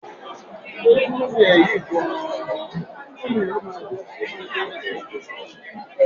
Ǹjẹ́ o ti tún ẹ́njìnì ọkọ̀ ayọ́kẹ́lẹ́ rẹ ṣe?